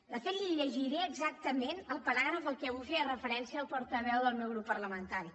de fet li llegiré exactament el paràgraf al qual avui feia referència el portaveu del meu grup parlamentari